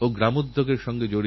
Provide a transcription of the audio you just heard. ভারতেরএক শুভ সূচনা হোক